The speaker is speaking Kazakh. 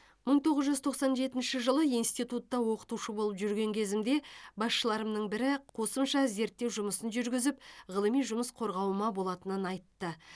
мың тоғыз жүз тоқсан жетінші жылы институтта оқытушы болып жүрген кезімде басшыларымның бірі қосымша зерттеу жұмысын жүргізіп ғылыми жұмыс қорғауыма болатынын айтты